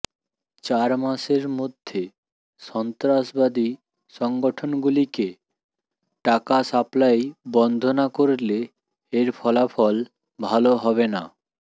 চারমাসের মধ্যে সন্ত্রাসবাদী সংগঠনগুলিকে টাকা সাপ্লাই বন্ধ না করলে এর ফলাফল ভাল হবে না